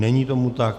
Není tomu tak.